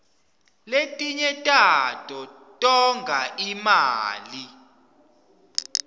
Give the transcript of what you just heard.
lefinye tato tonga imali